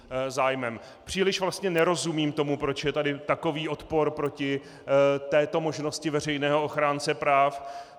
Příliš vlastně nerozumím tomu, proč je tady takový odpor proti této možnosti veřejného ochránce práv.